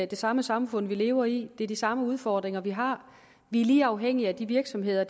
det samme samfund vi lever i det er de samme udfordringer vi har og vi er lige afhængige af de virksomheder